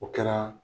O kɛra